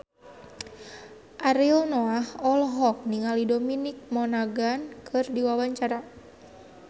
Ariel Noah olohok ningali Dominic Monaghan keur diwawancara